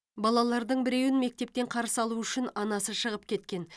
балалардың біреуін мектептен қарсы алу үшін анасы шығып кеткен